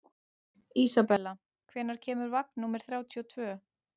Isabella, hvenær kemur vagn númer þrjátíu og tvö?